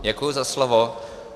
Děkuji za slovo.